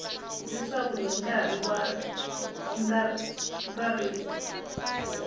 leswaku hi nkarhi wa ntsariso